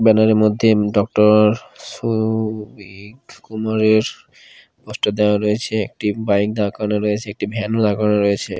Banner -এর মধ্যে doctor Souvik কুমারের পোস্টার দেওয়া রয়েছে একটি বাইক দাঁড় করানো রয়েছে একটি ভ্যান দাঁড় করানো রয়েছে।